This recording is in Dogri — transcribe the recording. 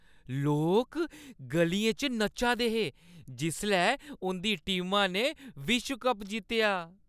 लोक ग'लियें च नच्चा दे हे जिसलै उंʼदी टीमा ने विश्व कप जित्तेआ